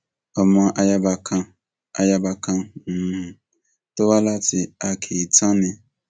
ọmọ ayaba kan ayaba kan um tó wá láti akéetàn ni